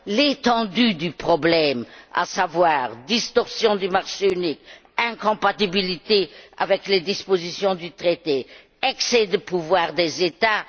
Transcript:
l'étendue du problème, à savoir les distorsions du marché unique, les incompatibilités avec les dispositions du traité et l'excès de pouvoir des États.